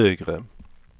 högre